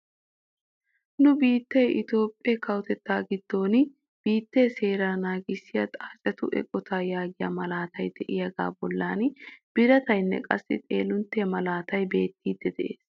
Nu biittee itoophphee kawotettaa giddon biittee seeraa nagissiyaa xaacettu eqotaa yaagiyaa maalatay de'iyaaga bollan birataynne qassi xoolinttiyaa malaatay beettiidi de'ees.